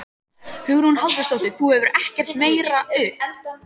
Hugrún Halldórsdóttir: Þú gefur ekkert meira upp?